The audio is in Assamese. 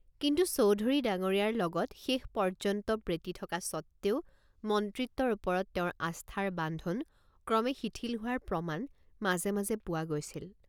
কিন্তু চৌধুৰী ডাঙৰীয়াৰ লগত শেষ পৰ্যন্ত প্ৰীতি থকা সত্ত্বেও মন্ত্ৰিত্বৰ ওপৰত তেওঁৰ আস্থাৰ বান্ধন ক্ৰমে শিথিল হোৱাৰ প্ৰমাণ মাজে মাজে পোৱা গৈছিল।